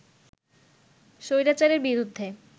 স্বৈরাচারের বিরুদ্ধে